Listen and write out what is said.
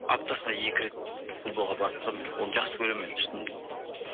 аптасына екі рет футболға барып тұрамын мен оны жақсы көремін мен шынымен де